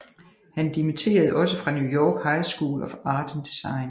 Han demiterede også fra New York High School of Art and Design